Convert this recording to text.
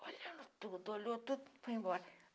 Olhando tudo, olhou tudo e foi embora.